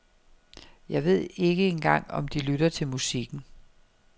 Jeg ved ikke engang om de lytter til musikken.